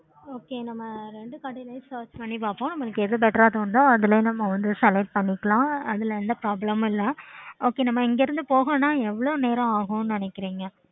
okay